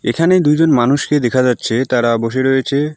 এখানে দুইজন মানুষকে দেখা যাচ্ছে তারা বসে রয়েছে।